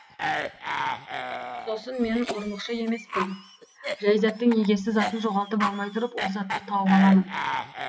сосын мен ұрлықшы емеспін жәй заттың егесі затын жоғалтып алмай тұрып ол затты тауып аламын